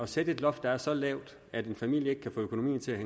sætte et loft der er så lavt at en familie ikke kan få økonomien til at